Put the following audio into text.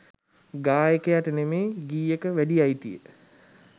ගායකයාට නෙමේ ගීයක වැඩි අයිතිය